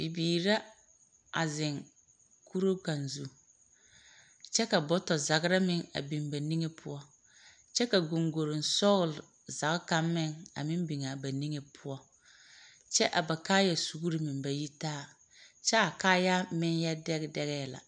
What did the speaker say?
Bibiiri la a zeŋ kuruu kaŋa zu, kyɛ ka bɔtɔ zagera meŋ a biŋ ba niŋe poɔ kyɛ ka goŋgoroŋ sɔgelezage kaŋ meŋ a meŋ biŋaa ba niŋe soga, kyɛ a ba kaaya suuri meŋ ba yi taa kyɛ a kaayaa meŋyɔ dɛge dɛgɛɛ la.